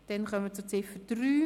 Wir kommen zu Ziffer 3.